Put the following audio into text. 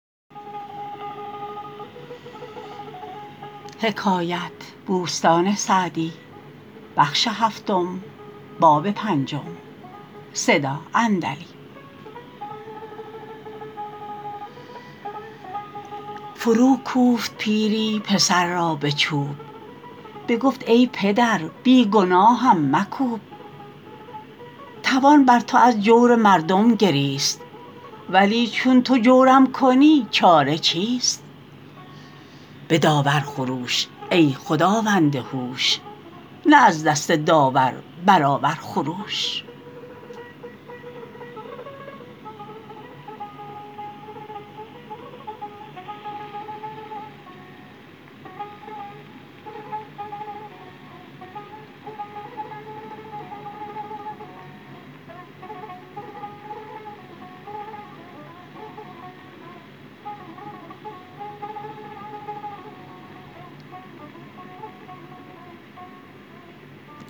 فرو کوفت پیری پسر را به چوب بگفت ای پدر بی گناهم مکوب توان بر تو از جور مردم گریست ولی چون تو جورم کنی چاره چیست به داور خروش ای خداوند هوش نه از دست داور برآور خروش